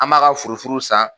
An m'a ka furufuru san